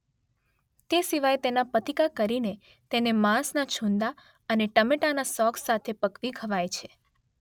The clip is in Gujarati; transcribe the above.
તે સિવાય તેના પતિકા કરી તેને માંસના છૂંદા અને ટમેટાના સોસ સાથે પકવી ખવાય છે